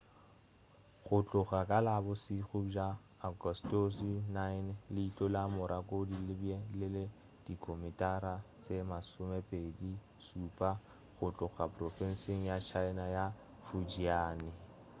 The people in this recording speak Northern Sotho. go tloga ka la bošego bja agostose 9 leihlo la morakot le be le le dikilomitara tše masomešupa go tloga profenseng ya china ya fujian